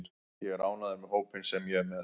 Ég er ánægður með hópinn sem ég er með.